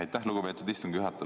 Aitäh, lugupeetud istungi juhataja!